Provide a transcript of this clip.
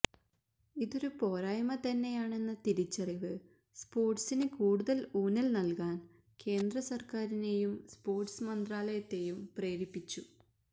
ഇതൊരു പോരായ്മ തന്നെയാണെന്ന തിരിച്ചറിവ് സ്പോർട്സിന് കൂടുതൽ ഊന്നൽ നല്കാൻ കേന്ദ്രസർക്കാരിനെയും സ്പോർട്സ് മന്ത്രാലയത്തെയും പ്രേരിപ്പിച്ചു